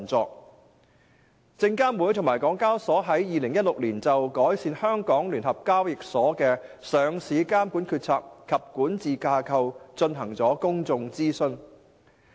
證券及期貨事務監察委員會和香港交易及結算所有限公司於2016年就改善香港聯合交易所的上市監管決策及管治架構進行公眾諮詢。